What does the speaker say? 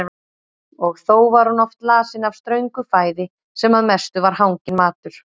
Og þó var hún oft lasin af ströngu fæði sem að mestu var hanginn matur.